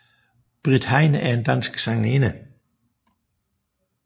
Britt Hein er en dansk sangerinde